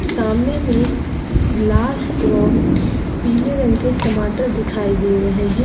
सामने में लाल एवं पीले रंग के टमाटर दिखाई दे रहे हैं।